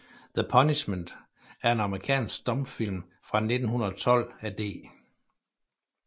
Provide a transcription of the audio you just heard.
The Punishment er en amerikansk stumfilm fra 1912 af D